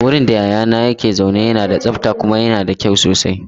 Wurin da yayana yake zaune yana da tsabta kuma yana da kyau sosai.